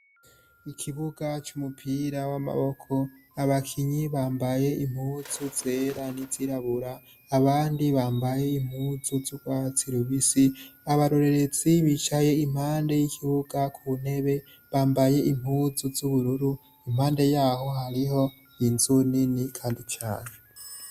Ikibuga c'umupira w'amaboko, abakinyi bambaye impuzu zera nizirabura, abandi bambaye impuzu z'urwatsi rubisi, abarorerezi bicaye impande y'ikibuga kuntebe, bambaye impuzu z'ubururu, impande yaho hariho inzu nini kandi cane.